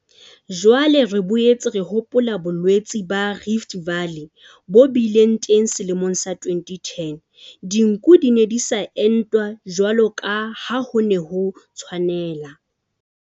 Jwale re boetse re hopola bolwetse ba rift-valley bo bileng teng selemong sa 2010. Dinku di ne di sa entwa jwalo ka ha ho ne ho tshwanela.